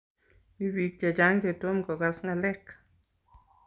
Mi bik che chang' chetom kokas ng'alek.